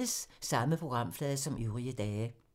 Samme programflade som øvrige dage